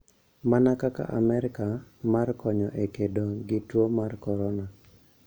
Mana kaka Amerka, mar konyo e kedo gi tuo mar Corona.